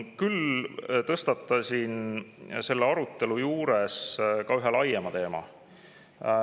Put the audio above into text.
Küll tõstatasin ma selles arutelus ka ühe laiema teema.